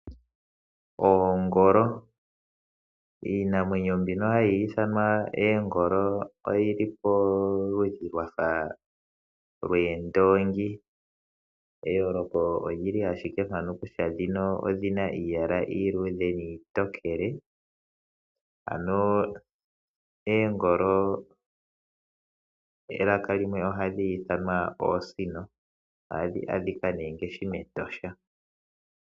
Oongolo, iinamwenyo mbino hayi ithimwa eengolo oyi li poludhi lwafa lweendoongi. Eyooloko olyi li ashike mpano kutya dhino odhina iiyala iiluudhe niitokele. Ano eengolo melaka limwe ohadhi ithanwa oosino . Oha dhi adhika ne ngaashi mEtosha.